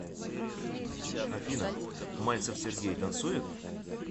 афина мальцев сергей танцует